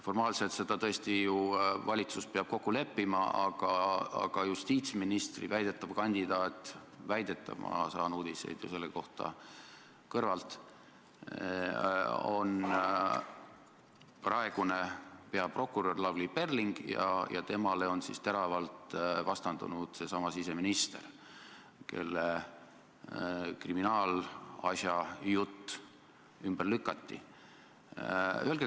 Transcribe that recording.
Formaalselt peab tõesti ju valitsus selles kokku leppima, aga justiitsministri väidetav kandidaat – väidetav, mina saan uudiseid selle kohta ju kõrvalt – on praegune peaprokurör Lavly Perling ja temale on teravalt vastandunud seesama siseminister, kelle kriminaalasjajutt ümber lükati.